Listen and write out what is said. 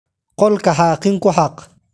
Qolka xaaqin ku xaaq.